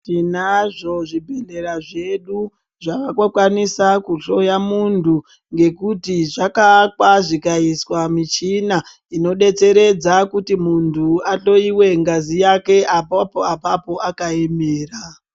Tinazvo zvibhedleya zvedu zvaakukwanisa kuhlora munhu ngekuti zvakavakwa zvikayiswa michina inodetseredza kuti muntu ahloriwe ngazi yake apapo apapo akayemera.